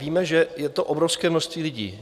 Víme, že je to obrovské množství lidí.